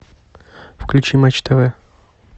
включи матч тв